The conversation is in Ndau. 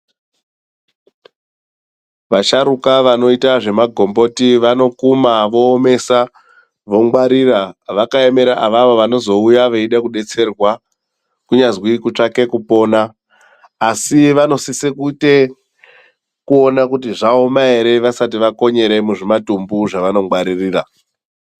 Vasharuka vanoita zvema gomboti vanokuma voomesa vongwarira vakaemera avavo vanozouya veida kudetserwa kunyazwi kutsvake kupona asi vanosise kuite kuona kuti zvaoma ere vasati vakonyeremwo muzvi matumbu zvava nongwarira.